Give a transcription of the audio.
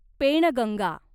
Penganga